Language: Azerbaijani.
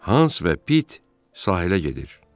Hans və Pit sahilə gedir.